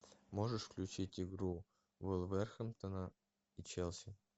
можешь включить игру вулверхэмптона и челси